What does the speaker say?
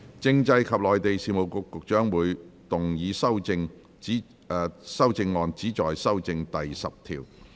政制及內地事務局局長會動議修正案，旨在修正第10條。